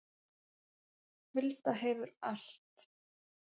Hulda hefur allt